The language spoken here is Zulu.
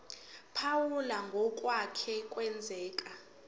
phawula ngokwake kwenzeka